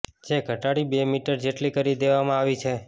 જે ઘટાડી બે મીટર જેટલી કરી દેવામાં આવી છે